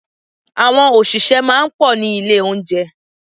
Àwọn òṣìṣẹ́ máa ń pọ̀ ní ilé oúnjẹ.